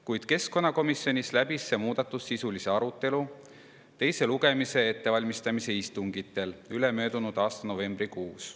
Kuid keskkonnakomisjonis oli selle muudatuse üle sisuline arutelu teise lugemise ettevalmistamise istungitel ülemöödunud aasta novembrikuus.